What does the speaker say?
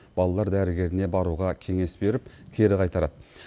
балалар дәрігеріне баруға кеңес беріп кері қайтарады